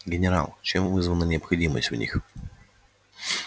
генерал чем вызвана необходимость в них